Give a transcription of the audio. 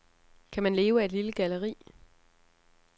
Kan man leve af et lille galleri?